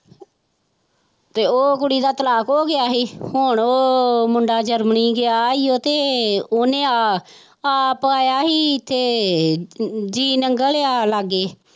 ਤੇ ਉਹ ਕੁੜੀ ਦਾ ਤਲਾਕ ਹੋ ਗਿਆ ਸੀ ਹੁਣ ਉਹ ਮੁੰਡਾ ਜਰਮਨੀ ਗਿਆ ਸੀ ਤੇ ਉਹਨੇ ਆਹ ਆਪ ਆਇਆ ਸੀ ਇੱਥੇ ਜੀਅਨੰਗਲ ਆ ਲਾਗੇ